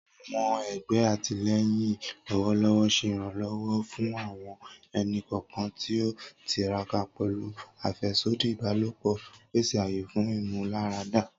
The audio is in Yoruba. Awọn ẹgbẹ atilẹyin lọwọlọwọ ṣe iranlọwọ fun awọn ẹni-kọọkan ti o tiraka pẹlu afẹsodi ibalopọ, pese aaye fun imularada.